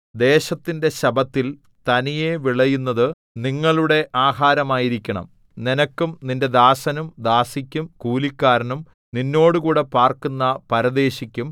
ദേശത്തിന്റെ ശബ്ബത്തിൽ തനിയെ വിളയുന്നതു നിങ്ങളുടെ ആഹാരമായിരിക്കണം നിനക്കും നിന്റെ ദാസനും ദാസിക്കും കൂലിക്കാരനും നിന്നോടുകൂടെ പാർക്കുന്ന പരദേശിക്കും